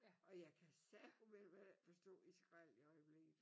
Og jeg kan sagumelme forstå Israel i øjeblikket